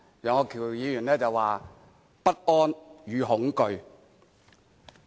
楊岳橋議員說"不安與恐懼"。